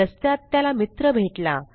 रस्त्यात त्याला मित्र भेटला